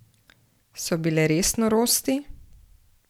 So bile res norosti?